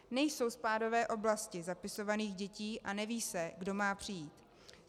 Nejsou spádové oblasti zapisovaných dětí a neví se, kdo má přijít.